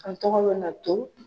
An tɔgɔ bɛ na to.